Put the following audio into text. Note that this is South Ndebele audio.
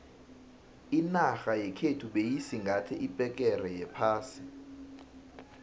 inarha yekhethu beyisingathe iphegere yephasi